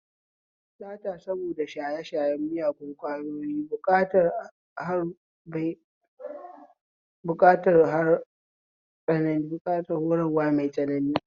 Sata saboda shaye shayen ƙwayoyi na buƙatar horarwa mai tsanani